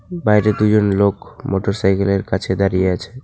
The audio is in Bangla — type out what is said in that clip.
বাইরে দুজন লোক মোটর সাইকেলের কাছে দাঁড়িয়ে আছে।